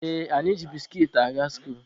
Ee, anyị ji biskit aga skuulu.